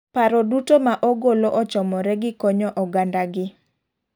Paro duto ma ogolo ochomore gi konyo oganda gi.